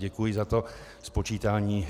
Děkuji za to spočítání.